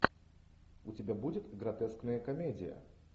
у тебя будет гротескная комедия